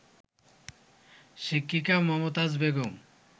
শিক্ষিকা মমতাজ বেগম